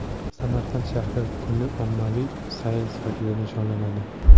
Samarqand shahri kuni ommaviy sayl sifatida nishonlanadi.